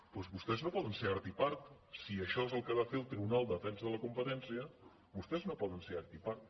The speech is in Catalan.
doncs vostès no poden ser art i part si això és el que ha de fer el tribunal de defensa de la competència vostès no poden ser art i part